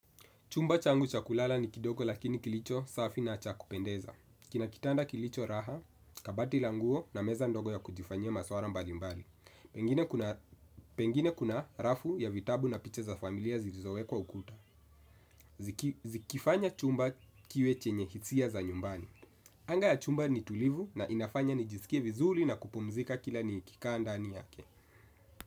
Chumba changu cha kulala ni kidogo lakini kilicho safi na cha kupendeza. Kina kitanda kilicho raha, kabati la nguo na meza ndogo ya kujifanyia maswala mbalimbali. Pengine kuna rafu ya vitabu na picha za familia zilizowekwa ukuta. Zikifanya chumba kiwe chenye hisia za nyumbani. Anga ya chumba ni tulivu na inafanya nijisikie vizuri na kupumzika kila nikikaa ndani yake.